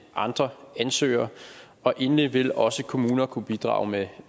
andre ansøgere endelig vil også kommuner kunne bidrage med